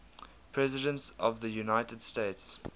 presidents of the united states